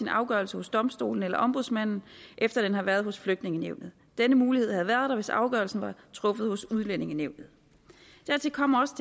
afgørelser hos domstolene eller ombudsmanden efter den har været hos flygtningenævnet denne mulighed havde været der hvis afgørelsen var truffet hos udlændingenævnet dertil kommer også